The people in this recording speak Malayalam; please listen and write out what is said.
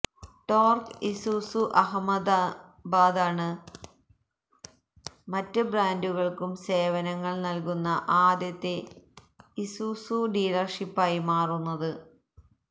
ടോർക്ക് ഇസൂസു അഹമ്മദാബാദാണ് മറ്റ് ബ്രാൻഡുകൾക്കും സേവനങ്ങൾ നൽകുന്ന ആദ്യത്തെ ഇസൂസു ഡീലർഷിപ്പായി മാറുന്നത്